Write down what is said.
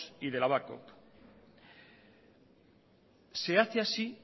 y de babcock se hace así